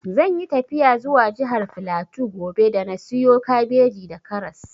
Zan yi tafiya zuwa jihar flatu gobe da na siyo kabeji da karas